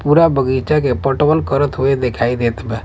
पूरा बगइचा के पटवन करत हुये देखाई देत बा।